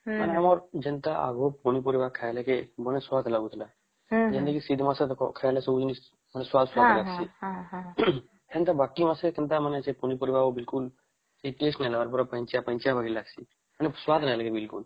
ହୁଁ ମାନେ ଆମର ଆଗେ ପନିପରିବା କହିଲେ ଭଲ ସ୍ବାଦ ଲାଗୁଥିଲା ଯେମିତି ମାନେ ସ୍ବାଦ ସ୍ବାଦ ଲାଗଶି ଏମତ ବାକି ମାସେ ପନିପରିବା ବିଲକୁଲ କିଛି test ନହିଁ ନ ପୁରା ପାଣିଚିଆ ପାଣିଚିଆ ଭଳି ଲାଗଶି ମାନେ ସ୍ବାଦ ନହିଁ ବିଲକୁଲ